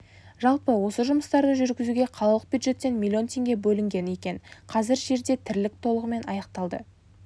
жалпы осы жұмыстарды жүргізуге қалалық бюджеттен миллион теңге бөлінген екен қазір жерде тірлік толығымен аяқталды